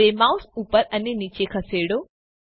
હવે માઉસ ઉપર અને નીચે ખસેડો